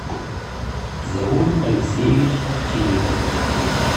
заур алексеевич овчинников